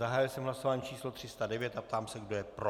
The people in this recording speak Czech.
Zahájil jsem hlasování číslo 309 a ptám se, kdo je pro?